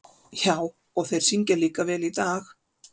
Já, og þeir syngja líka vel í dag.